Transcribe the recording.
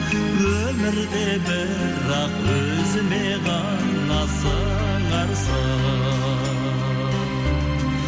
өмірде бірақ өзіме ғана сыңарсың